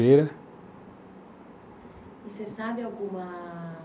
E você sabe alguma...